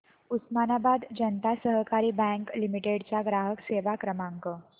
Osmanabad Janata Sahakari bank limited चा ग्राहक सेवा क्रमांक